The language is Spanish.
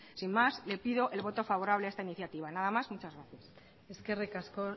sin más les pido el voto favorable a esta iniciativa nada más muchas gracias eskerrik asko